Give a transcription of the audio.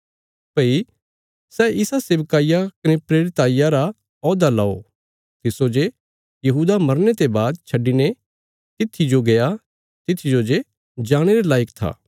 भई सै इस सेवकाईया कने प्रेरिताईया रा औहदा लओ तिस्सो जे यहूदा मरने ते बाद छड्डिने तित्थी जो गया तित्थी जो जे जाणे रे लायक था